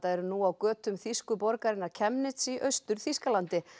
eru nú á götum þýsku borgarinnar Chemnitz í Austur Þýskalandi